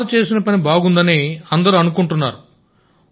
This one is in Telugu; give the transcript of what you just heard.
సార్ చేసిన పని బాగుందని అందరూ అనుకుంటున్నారు